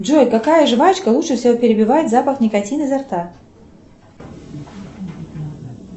джой какая жвачка лучше всего перебивает запах никотина изо рта